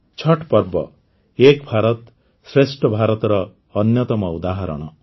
ଛଠ୍ ପର୍ବ ଏକ ଭାରତଶ୍ରେଷ୍ଠ ଭାରତର ଅନ୍ୟତମ ଉଦାହରଣ